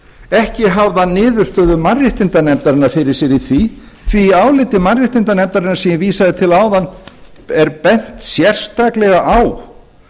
ekki hafði hann niðurstöðu mannréttindanefndarinnar fyrir sér í því því í áliti mannréttindanefndarinnar sem ég vísaði til áðan er bent sérstaklega á